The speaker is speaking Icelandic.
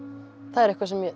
það er eitthvað sem